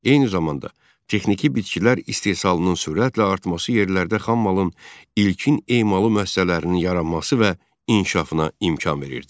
Eyni zamanda, texniki bitkilər istehsalının sürətlə artması yerlərdə xammalın ilkin emalı müəssisələrinin yaranması və inkişafına imkan verirdi.